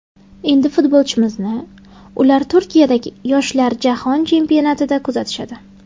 Endi futbolchimizni ular Turkiyadagi yoshlar jahon chempionatida kuzatishadi.